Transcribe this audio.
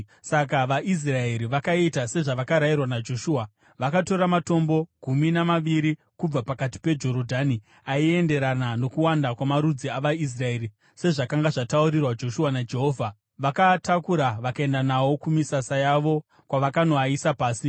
Saka vaIsraeri vakaita sezvavakarayirwa naJoshua. Vakatora matombo gumi namaviri kubva pakati peJorodhani, aienderana nokuwanda kwamarudzi avaIsraeri, sezvakanga zvataurirwa Joshua naJehovha; vakaatakura vakaenda nawo kumisasa yavo kwavakanoaisa pasi.